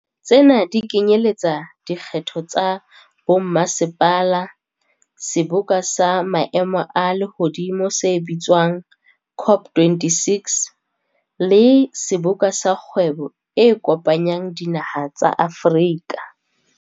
Tsena di kenyeletsa dikgetho tsa bommasepala, seboka sa maemo a lehodimo se bitswa ng COP26, le Seboka sa Kgwebo e Kopanyang Dinaha tsa Afrika.